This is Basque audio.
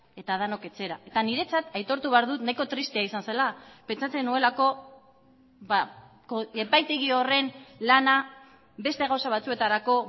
eta denok etxera eta niretzat aitortu behar dut nahiko tristea izan zela pentsatzen nuelako epaitegi horren lana beste gauza batzuetarako